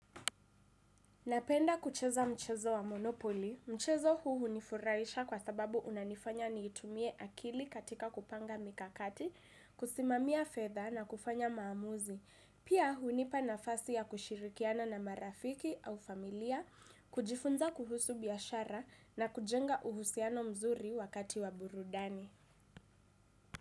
Napenda kucheza mchezo wa monopoli, mchezo huu hunifuraisha kwa sababu unanifanya niitumie akili katika kupanga mikakati, kusimamia fedha na kufanya maamuzi. Pia hunipa nafasi ya kushirikiana na marafiki au familia, kujifunza kuhusu biashara na kujenga uhusiano mzuri wakati wa burudani.